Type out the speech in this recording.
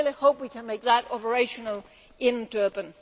I really hope we can make that operational in Durban.